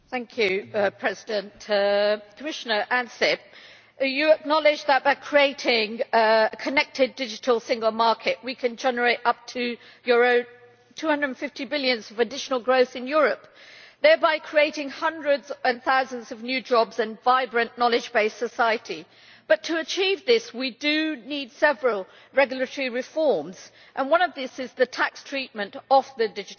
Mr President, Commissioner Ansip acknowledges that by creating a connected digital single market, we can generate up to EUR 250 billion of additional growth in Europe, thereby creating hundreds and thousands of new jobs and a vibrant knowledge based society. But Commissioner, to achieve this we do need several regulatory reforms and one of these is the tax treatment of digital